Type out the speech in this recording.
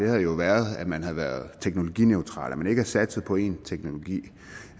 havde jo været at man havde været teknologineutrale at man ikke havde satset på en teknologi